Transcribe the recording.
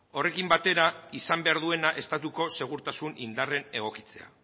horrekin batera izan behar duena estatuko segurtasun indarren egokitzea